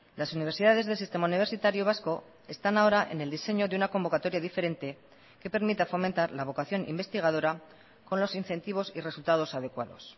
las universidades del sistema universitario vasco están ahora en el diseño de una convocatoria diferente que permita fomentar la vocación investigadora con los incentivos y resultados adecuados